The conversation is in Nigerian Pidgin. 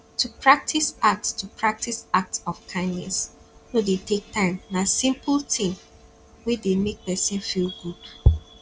to practice act to practice act of kindness no de take time na simple thing wey de make persin feel good